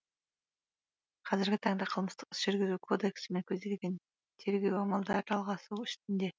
қазіргі таңда қылмыстық іс жүргізу кодексімен көзделген тергеу амалдары жалғасу үстінде